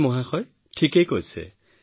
হয় ছাৰ সেয়া শুদ্ধ